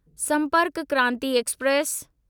Sampark Kranti express